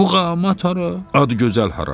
Muğamat hara, Adıgözəl hara?